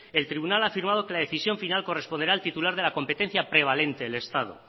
el tribunal ha firmado que la decisión final corresponderá al titular de la competencia prevalente el estado